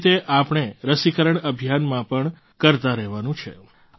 આવી જ રીતે આપણે રસીકરણ અભિયાનમાં પણ કરતા રહેવાનું છે